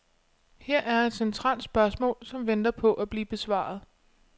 Her er et centralt spørgsmål, som venter på at blive besvaret.